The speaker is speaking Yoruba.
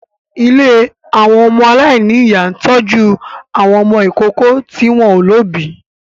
Ilé àwọn ọmọ aláìníyà ń tọ́jú àwọn ọmọ ìkókó tí wọ́n ò lóbìí